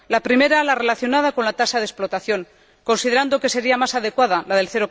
La primera, relacionada con la tasa de explotación considerando que sería más adecuada la del